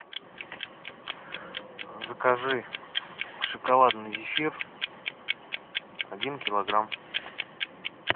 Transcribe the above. закажи шоколадный зефир один килограмм